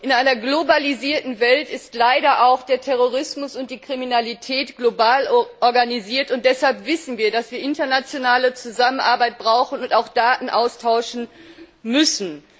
Frau Präsidentin! In einer globalisierten Welt sind leider auch der Terrorismus und die Kriminalität global organisiert, und deshalb wissen wir, dass wir internationale Zusammenarbeit brauchen und auch Daten austauschen müssen.